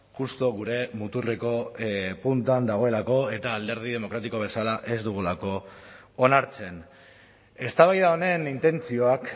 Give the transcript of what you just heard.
justu gure muturreko puntuan dagoelako eta alderdi demokratiko bezala ez dugulako onartzen eztabaida honen intentzioak